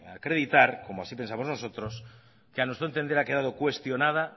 acreditar como así pensamos nosotros que a nuestro entender ha quedado cuestionada